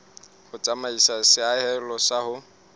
ho tsamaisa seahelo sa ho